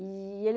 E ele...